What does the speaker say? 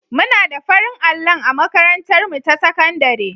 Muna da farin allon a makatantarmu ta sakandare.